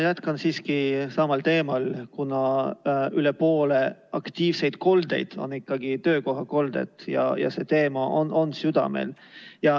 Jätkan siiski samal teemal, kuna üle poole aktiivseid koldeid on ikkagi töökohakolded ja see teema on südamel.